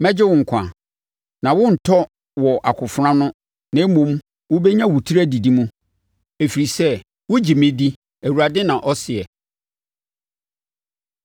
Mɛgye wo nkwa, na worentɔ wɔ akofena ano na mmom wobɛnya wo tiri adidi mu, ɛfiri sɛ wogye me di, Awurade, na ɔseɛ.’ ”